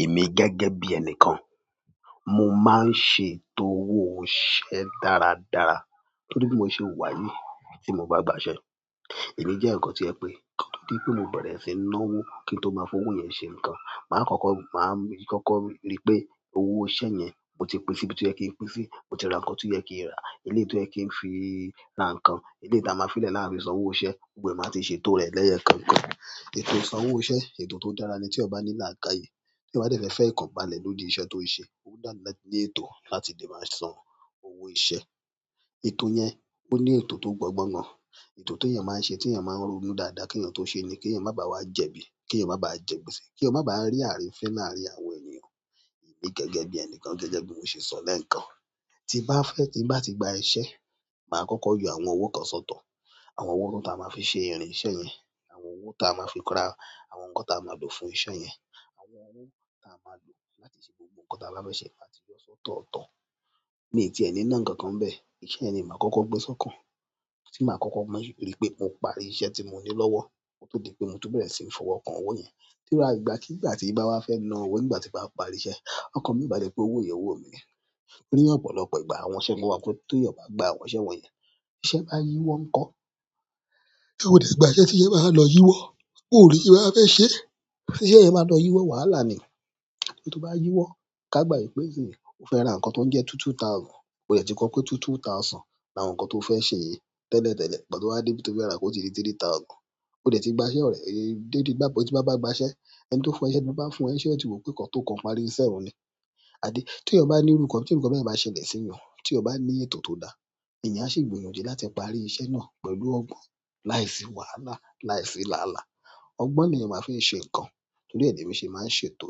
Èmi gẹ́gẹ́ bí ẹni kan, mo máa ń ṣe ètò owó òṣìṣẹ́ dáradára torí bí mo ṣe wùwà yìí tí mo bá gba iṣẹ́. Èmi jéèyàn kan tó jẹ́ pé, kí n tó bẹ̀rẹ̀ síi náwó kí n tó máa fowó yẹn ṣe nǹkan, màá kọ́kọ́ máa kọ́kọ́ ríi pé owó iṣẹ́ yẹn mo ti pín síbi tó yẹ kí n pín sí, mo ti ra nǹkan tó yẹ kí n rà, eléyìí tó yẹ kí n fi ra nǹkan, eléyìí táa máa fi lè láàfin san owó iṣẹ́, gbogbo ẹ̀ màá ti ṣe ètò rẹ̀ lẹ́yọ kọ̀ọ̀kan. Ètò ìsan owó iṣẹ́, ètò tó dára ni téèyàn bá ní làákàyè. Téèyàn bá dẹ̀ fẹ́ ìfọ̀kànbalẹ̀ lórí iṣẹ́ tó ń ṣe, ó dára ní ètò láti lè máa san owó iṣẹ́. Ètò yẹn, ó ní ètò tó gbọ́ngbọ́n gan. Ètò tí èèyàn máa ń ṣe tí èèyàn máa ń ronú dáadáa kí èèyàn tó ṣe ni kí èèyàn má bá wá jẹ̀bi, kí èèyàn má bá jẹ gbèsè, kí ó má bá rí àrífín láàárín àwọn ènìyàn. Èmi gẹ́gẹ́ bí ẹni kan gẹ́gẹ́ bí mo ṣe sọ lẹ́ẹ̀kan, tí màá fẹ́ tí màá ti gba iṣẹ́, màá kọ́kọ́ yọ àwọn owó kan sọ́tọ̀. Àwọn owó tó à máa fi ṣe ìrìn iṣẹ́ yẹn, àwọn owó táa máa fi ra àwọn nǹkan táa máa lò fún iṣẹ́ yẹn, àwọn owó táa máa lò láti ṣe gbogbo nǹkan táa bá fẹ́ ṣe màá ti yọ sọ́tọ̀ tán. Miì tiẹ̀ ní ná nǹkan kan ńbẹ̀, iṣẹ́ yẹn ni màá kọ́kọ́ gbé sọ́kàn. Tí màá kọ́kọ́ mọ̀ rí pé mo parí iṣẹ́ tí mo ní lọ́wọ́, mo tọ dípé mo tún bẹ̀rẹ̀ síí fọwọ́ kan owó yẹn. Tí ó bá ìgbà kí ìgbà tí ì bá wá fẹ́ ná owó ìgbà tí màá parí iṣẹ́, ọ̀kàn mi ìbá lè pé owó yẹn owó mi ni. Ní ọ̀pọ̀lọpọ̀ ìgbà àwọn iṣẹ́ mó wà pé tó èèyàn bá gba àwọn iṣẹ́ wọ̀nyẹn, iṣẹ́ bá yíwọ́ ńkọ́? Tí mo sì ní ìgbà ẹṣẹ tí iṣẹ́ bá máa lọ yíwọ́. Kò rí bí màá fẹ́ ṣe. Ṣé iṣẹ́ yìí máa lọ yíwọ́ wàhálà ni. Tí ó bá yíwọ́, ká gbà wípé kíni ò ń fẹ́ ra nǹkan tó ń jẹ́ two two thousand, o dẹ̀ ti kọ́ pé two two thousand ni àwọn nǹkan tóo fẹ́ ṣe yìí tẹ́lẹ̀ tẹ́lẹ̀, pàtó wá dé ibi tí o fẹ́ rà ó ti di three three thousand. O dẹ̀ ti gba iṣẹ́ rẹ̀ dédé gbá bó ti bá bá gba iṣẹ́, ẹni tó fún iṣẹ́ ló bá fún ẹ ní iṣẹ́ òtítọ́ pé kàn tí o kan parí iṣẹ́ òun ni. Àdí, tí ò bá ní òrùka, tí òrùka bẹ̀rẹ̀ máa ṣe lẹ̀ sínú, tí o bá ní ètò tó dáa, èèyàn á ṣì gbìyànjú láti parí iṣẹ́ náà pẹ̀lú ọgbọ́n láìsí wàhálà, láìsí làálàá. Ọgbọ́n ni èèyàn máa fi ń ṣe nǹkan torí ẹ̀ lèmi ṣe máa ń ṣètò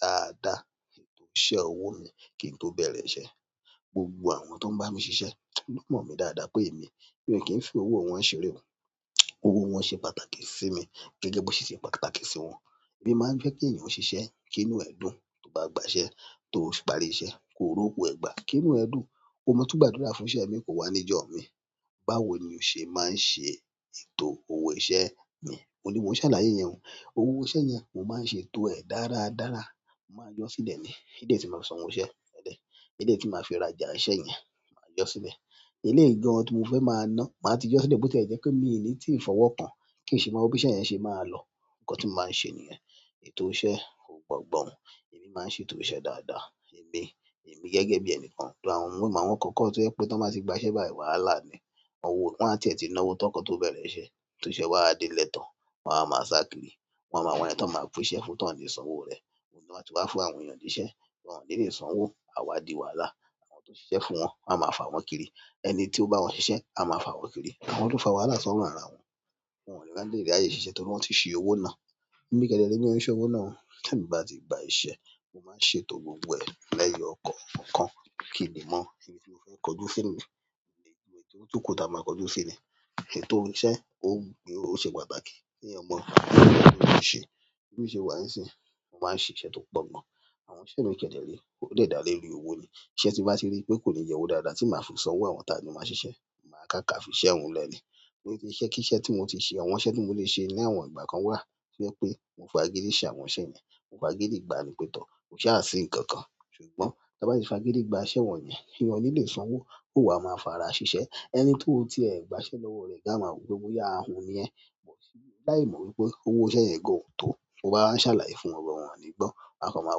dáadáa, ètò iṣẹ́ owó mi kí n tó bẹ̀rẹ̀ iṣẹ́. Gbogbo àwọn tó ń bá mi ṣiṣẹ́, ó mọ̀ mí dáadáa pé èmi mi ò kí n fi owó wọn ṣeré o. Owó wọn ṣe pàtàkì sí mi gẹ́gẹ́ bó ṣe ṣe pàtàkì sí wọn. Èmi máa ń fẹ́ kéèyàn ó ṣiṣẹ́ kínú ẹ̀ dùn. Tóo bá gbaṣẹ́, tóo parí iṣẹ́, kóo rówó ẹ gbà, kínú ẹ dùn, kóo máa tún gbàdúrà fún'ṣẹ́ míì kó wá níjọ́ míì. Báwo ni o ṣe máa ń ṣe ètò owó iṣẹ́ mi? Òun ni mò ń ṣàlàyé yẹn o. Owó iṣẹ́ yẹn mò máa ń ṣe ètò ẹ̀ dáradára. Mo máa jọ́ sílẹ̀ ni. Kídé tí màá san owó iṣẹ́, ẹ̀dẹ̀. Eléyìí tí màá fi rajà iṣẹ́ yẹn, màá yọ ọ́ sílẹ̀. Eléyìí gan-an tí mo fẹ́ máa ná, màá ti jọ́ sílẹ̀ bó tí ẹ jẹ́ pé mi, èmi tí ì fọwọ́ kàn kì í ṣe máa mọ bí iṣẹ́ yẹn ṣe máa lọ. Nǹkan tí mò máa ń ṣe nìyẹn. Ètò iṣẹ́ ó gbọgbọ́n. Èmi máa ń ṣe ètò iṣẹ́ dáadáa. Èmi, èmi gẹ́gẹ́ bí ẹni kan tó àwọn òwò, màá kọ́kọ́ tó jẹ́ pé t'ọ́n bá ti gbaṣẹ́ báyìí wàhálà ni. Owó wọn á ti ètí ná owó tán kí ó tó bẹ̀rẹ̀ iṣẹ́. Tí iṣẹ́ wà á délẹ̀ tán, wọ́n á wá máa sá kiri. Wọ́n á máa wá ẹni t'ọ́n máa pínṣẹ́ fún, t'ọ́n ò ní sanwó rẹ̀. Wọ́n máa ti wá fún àwọn èèyàn jíṣẹ́, wọ́n ò ní lè san owó, áá wá di wàhálà. Àwọn tó ṣiṣẹ́ fún wọn á máa fà wọ́n kiri. Ẹni tí ó bá wọn ṣiṣẹ́ á máa fà wọ́n kiri. Wọn tó fà wàhálà sọ́rùn ara wọn, wọn ò ní lè dá léèrí láyé ṣiṣẹ́ torí wọ́n ti ṣe owó ná. Èmi kẹ́dẹ̀ẹ́dẹ̀ ni mi orí iṣẹ́ owó náà. Tí èmi bá ti gba iṣẹ́, mo máa ń ṣe ètò gbogbo ẹ̀ lẹ́yọ kọ̀ọ̀kan. Kí n lè mọ́, ibi tí mo fẹ́ kojú sí ni, ilé tó tún kò ta màá kojú sí ni. Ètò iṣẹ́, ó ṣe pàtàkì kí ọmọ èèyàn tó ń ṣe, kí ó ṣe wà á sì ń ṣe, ó máa ń ṣe iṣẹ́ tó pọ̀ gan-an. Àwọn iṣẹ́ mi kẹ́dẹ̀ẹ́dẹ̀, ó dẹ̀ dá lé rí owó ni. Ìṣẹ́ tí bá ti rí pé kò ní jẹ owó dáadáa tí màá fi san owó àwọn ta ni màá ṣiṣẹ́, màá kàkà fiṣẹ́ òun 'lẹ̀ ni. Ìṣẹ́kíṣẹ́ tí mo ti ṣe, àwọn iṣẹ́ tí mo le ṣe láwọn ìgbà kan wà tí ó fẹ́ pé mo fa géésì àwọn iṣẹ́ yẹn, mo fa géésì gba ní pẹtọ̀, kò ṣe ààsi ní ǹkan kan ṣùgbọ́n tí a bá ti fa géésì gba iṣẹ́ wọ̀nyẹn, èèyàn ò ní lè san owó, kò wà máa fà ara ṣiṣẹ́. Ẹni tó ti ẹ gba iṣẹ́ lọ́wọ́ rẹ gáà máa wí pé óyá ahun ni ẹ, bó ti yé dá èmọ̀ wípé owó iṣẹ́ yẹn kò hán tó, ó bá wá ṣàlàyé fún ọ̀rẹ́ òhun ò ní gbọ́. Akàn máa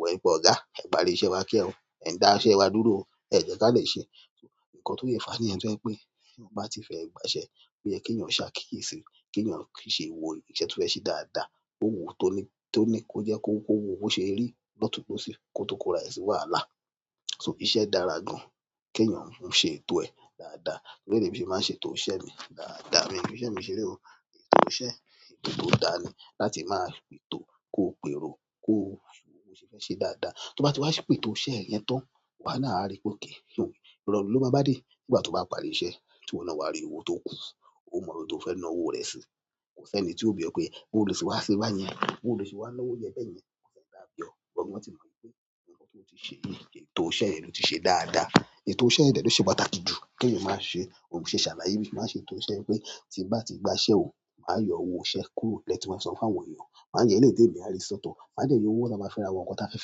wọ ìbọn ọ̀gá, ẹ parí iṣẹ́ wa kíá o, ẹ dá iṣẹ́ wa dúró o, ẹ jẹ́ ká lè ṣe. Nǹkan tó yẹ fàá ni ẹni tó fẹ́ pé tí ò bá ti fẹ́ gba iṣẹ́, ó yẹ kí èèyàn ṣákíyèsí, kí èèyàn ṣé wo iṣẹ́ tó fẹ́ ṣe dáadáa. Owó tó ní, tó ní kó jẹ́ kó wo owó ṣe rí lọ́tùú lọ́sìn kí ó tó kora èsì wàhálà. So iṣẹ́ dára gan-an, kí èèyàn mú ṣe ètò ẹ̀ dáadáa. Torí ẹni mí ṣe máa ń ṣe ètò iṣẹ́ mi dáadáa. Mi ní iṣẹ́ mi ṣeré o. Ètò iṣẹ́, ètò tó dáa ni láti máa pètò kó pèrò, kó ṣe fẹ́ ṣe dáadáa. Tí wọ́n bá ti wá ṣépètò iṣẹ́ yẹn tán, wàá náà á rí pé okay, ìrọ̀rùn ló máa bá dé pé kìí ṣe òun. Ìrọ̀lẹ́ ló bá bá dé ìgbà tí ó bá parí iṣẹ́ tí wọn náà wá rí owó tó k.